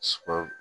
Suma